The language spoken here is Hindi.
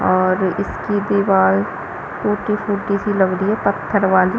और इसकी दीवाल फूटी-फूटी सी लग रही है पत्थर वाली --